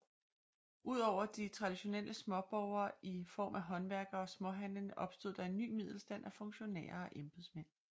Udover de traditionelle småborgere i form af håndværkere og småhandlende opstod der en ny middelstand af funktionærer og embedsmænd